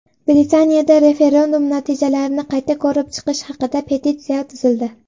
Britaniyada referendum natijalarini qayta ko‘rib chiqish haqida petitsiya tuzildi.